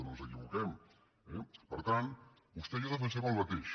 no ens equivoquem eh per tant vostè i jo defensem el mateix